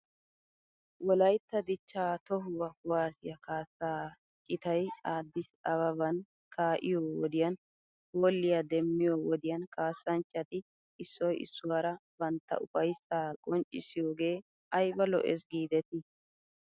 Wolaytta dichchaa tohuwo kuwassiya kaassaa citay Addis ababan kaa'iyoo wodiyan hoolliyaa demmiyoo wodiyan kaassanchchati issoy issuwaara bantta ufayssaa qonccissiyoogee ayba lo'es giidetii?